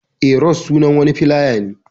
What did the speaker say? Eh, ros sunan wani filawa ne.